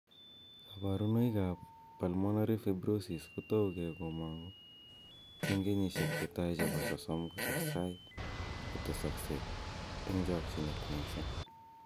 Kaborunoikab pulmonary fibrosis kotouge komong'u eng' kenyisiek chetai chebo 30 kotesetai kotesakse eng' chokchinet mising